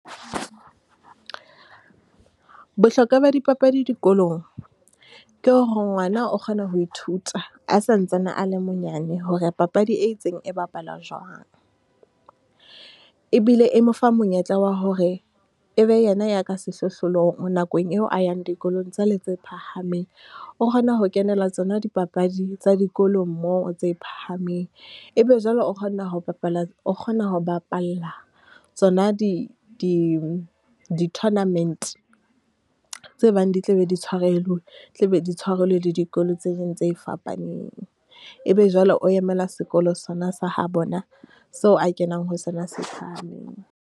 Bohlokwa ba dipapadi dikolong, ke hore ngwana o kgona ho ithuta. A sa ntsane a le monyane hore papadi e itseng e bapalwa jwang. Ebile e mo fa monyetla wa hore e be yena ya ka sehlohlolong nakong eo a yang dikolong tse le tse phahameng. O kgona ho kenela tsona dipapadi tsa dikolong moo tse phahameng. E be jwale o kgona ho bapala, o kgona ho bapalla tsona di, di, di tournament tse bang di tla be di , tla be di tshwarelwe le dikolo tse ding tse fapaneng. E be jwale o emela sekolo sona sa ha bona, seo a kenang ho sona se phahlameng.